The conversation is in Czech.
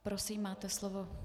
Prosím, máte slovo.